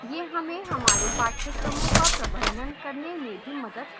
यह हमें हमारे पाठ्यक्रमों का प्रबंधन करने में भी मदद करता है